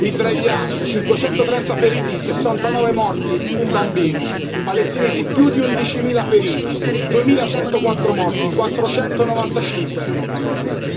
Israeliani cinquecentotrenta feriti, sessantanove morti, un bambino. Palestinesi più di undicimila feriti, duemilacentoquattro morti, quattrocentonovantacinque erano bambini.